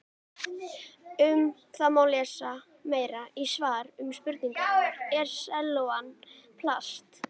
Um það má lesa meira í svari við spurningunni Er sellófan plast?